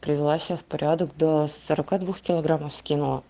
привела себя в порядок до сорока двух килограммов скинула